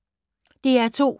DR2